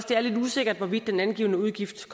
det er lidt usikkert hvorvidt den angivne udgift